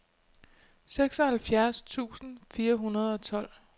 seksoghalvfjerds tusind fire hundrede og tolv